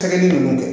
Kelenni ninnu